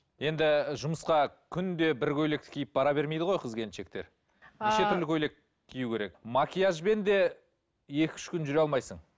енді жұмысқа күнде бір көйлекті киіп бара бермейді ғой қыз келіншектер көйлек кию керек макияжбен де екі үш күн жүре алмайсың